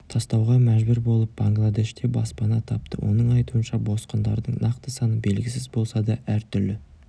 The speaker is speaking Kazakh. тастауға мәжбүр болып бангладеште баспана тапты оның айтуынша босқындардың нақты саны белгісіз болса да әртүрлі